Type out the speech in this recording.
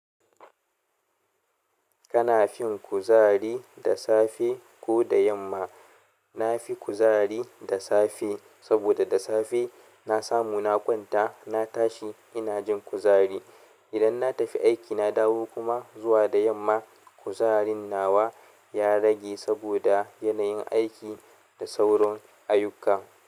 Kana fin kuzari da safe ko da yamma? Na fi kuzari da safe saboda da safe na samu na kwanta, na tashi ina jin kuzari. Idan na tafi aiki na dawo kuma zuwa da yamma kuzarin nawa ya rage saboda yanayin aiki da sauran ayuka.